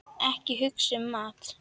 Ekki hugsa um mat!